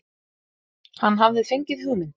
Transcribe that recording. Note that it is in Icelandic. Hann hafði fengið hugmynd.